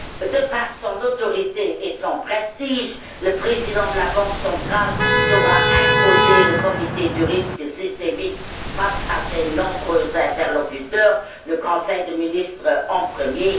De par son autorité et son prestige, le président de la Banque centrale saura imposer le Comité du risque systémique face à ses nombreux interlocuteurs le Conseil de ministres en premier.